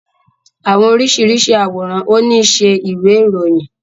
Àwọn oríṣiríṣi aworan o ni ṣe ìwé ìròyìn.